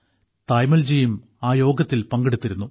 തായമ്മാൾജിയും ആ യോഗത്തിൽ പങ്കെടുത്തിരുന്നു